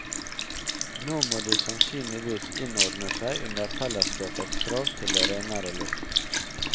Nå må de sannsynligvis innordne seg under fellesskapets krav til renere luft.